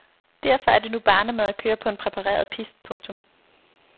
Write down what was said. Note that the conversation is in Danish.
Derfor er det nu barnemad at køre på en præpareret pist. punktum